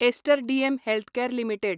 ester DM Healthcare limited